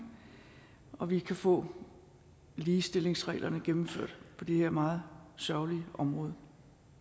så vi kan få ligestillingsreglerne gennemført på det her meget sørgelige område